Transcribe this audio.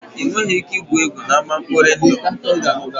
Ị nweghị ike igwu egwu n'ama nkpọri ndụ